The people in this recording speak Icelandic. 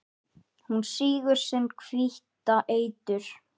Hún sýgur sinn hvíta eitur